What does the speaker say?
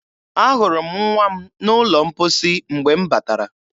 Ahụrụ m nwa m n'ụlọ mposi mgbe m batara